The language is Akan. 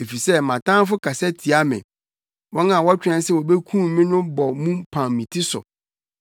Efisɛ mʼatamfo kasa tia me wɔn a wɔtwɛn sɛ wobekum me no bɔ mu pam me ti so.